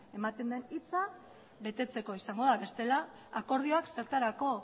ematen den hitza betetzeko izango da bestela akordioak zertarako